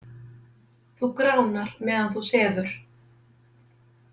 Þú gránar meðan þú sefur.